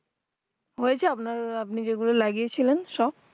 হয়েছে আপনার আপনি যে গুলো লাগিয়ে ছিলেন সব